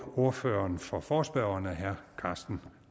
ordføreren for forespørgerne herre karsten